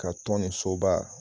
Ka tɔn nin soba